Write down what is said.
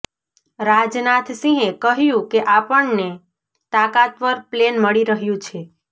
રાજનાથ સિંહે કહ્યું કે આપણને તાકાતવર પ્લેન મળી રહ્યું છે